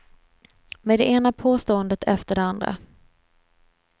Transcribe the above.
Med det ena påståendet efter det andra.